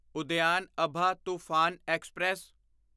Udyan Abha Toofan express